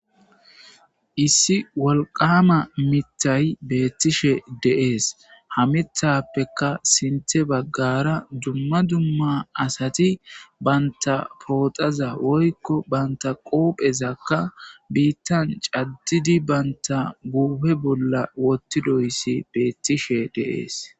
Issi wolqama mitay beettishe deees hamithappeka sinte baggara dumma dumma asati banta pooxaza woykko banta qoophezakka biittan caddidi banta guuhe bolla wottidoyssi beettishe deees.